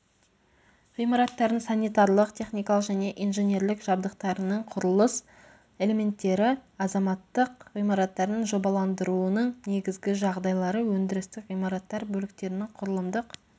ғимараттардың санитарлық-техникалық және инженерлік жабдықтарының құрылыс элементтері азаматтық ғимараттардың жобаландыруының негізгі жағдайлары өндірістік ғимараттар бөліктерінің құрылымдық